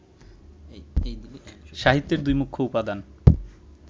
সাহিত্যের দুই মুখ্য উপাদান